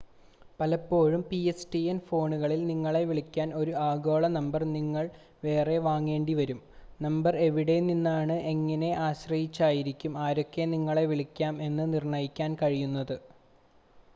പലപ്പോഴും, pstn ഫോണുകളിൽ നിങ്ങളെ വിളിക്കാൻ ഒരു ആഗോള നമ്പർ നിങ്ങൾ വേറെ വാങ്ങേണ്ടിവരും. നമ്പർ എവിടെനിന്നാണ് എന്നതിനെ ആശ്രയിച്ചായിരിക്കും ആർക്കൊക്കെ നിങ്ങളെ വിളിക്കാം എന്ന് നിർണ്ണയിക്കാൻ കഴിയുന്നത്